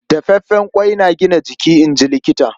Dafaffen ƙwai yana gina jiki, in ji Likita.